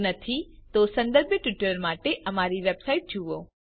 જો નહિં તો સંબંધિત ટ્યુટોરિયલ્સ માટે અમારી વેબસાઇટ httpspoken tutorialorg જુઓ